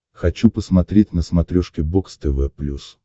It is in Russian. хочу посмотреть на смотрешке бокс тв плюс